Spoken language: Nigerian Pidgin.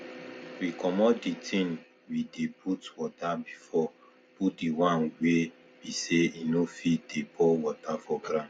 we comot the thing we dey put water before put d one wey be sey e no fit dey pour water for ground